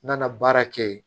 N nana baara kɛ yen